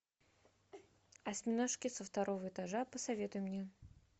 осьминожки со второго этажа посоветуй мне